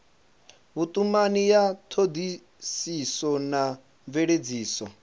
vhutumani ya thodisiso na mveledziso